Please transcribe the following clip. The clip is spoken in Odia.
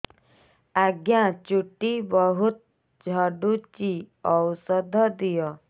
ଆଜ୍ଞା ଚୁଟି ବହୁତ୍ ଝଡୁଚି ଔଷଧ ଦିଅ